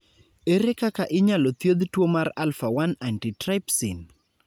Ere kaka inyalo thiedh tuwo mar alpha 1 antitrypsin?